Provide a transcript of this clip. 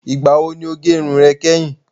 Ìgbà wo ni o gẹ irun rẹ kẹ́hìn?